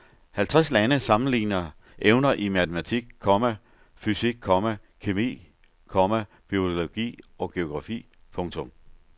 Halvtreds lande sammenligner evner i matematik, komma fysik, komma kemi, komma biologi og geografi. punktum